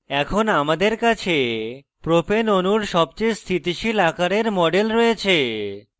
এখন আমাদের কাছে propane অণুর সবচেয়ে স্থিতিশীল আকারের model রয়েছে